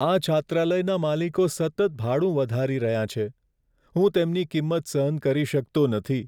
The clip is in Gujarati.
આ છાત્રાલયના માલિકો સતત ભાડું વધારી રહ્યાં છે, હું તેમની કિંમત સહન કરી શકતો નથી.